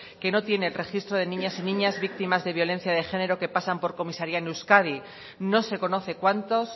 que no tiene el registro de niñas y niños víctimas de violencia de género que pasan por comisaria en euskadi no se conoce cuantos